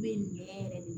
Bɛ nin ɲɛ yɛrɛ de